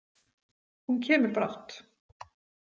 Hún kemur brátt.